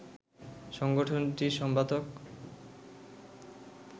সংগঠনটির সম্পাদক